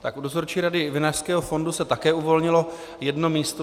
Tak u Dozorčí rady Vinařského fondu se také uvolnilo jedno místo.